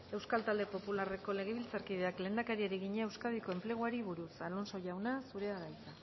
euskal talde popularreko legebiltzarkideak lehendakariari egina euskadiko enpleguari buruz alonso jauna zurea da hitza